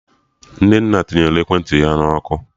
Nnenna tinyere ekwentị ya na ọkụ